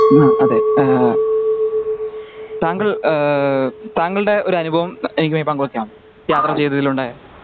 ആഹ് അതെ ആഹ് താങ്കൾ ഏഹ് താങ്കളുടെ ഒരു അനുഭവം എനിക്കുമായി പങ്കു വെക്കാമോ യാത്ര ചെയ്തതിൽ ഉണ്ടായ